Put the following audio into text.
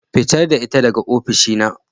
Fitar da ita daga oficina.